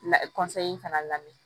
La in fana lamini